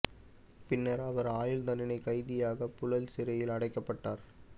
பின்னர் அவர் ஆயுள் தண்டனை கைதியாக புழல் சிறையில் அடைக்கப்பட்டார்